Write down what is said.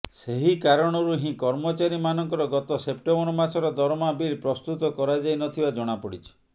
ସେହିକାରଣରୁ ହିଁ କର୍ମଚାରୀ ମାନଙ୍କର ଗତ ସେପ୍ଟେମ୍ବର ମାସର ଦରମା ବିଲ ପ୍ରସ୍ତୃତ କରାଯାଇନଥିବା ଜଣାପଡିଛି